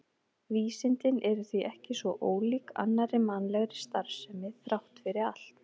Vísindin eru því ekki svo ólík annarri mannlegri starfsemi þrátt fyrir allt.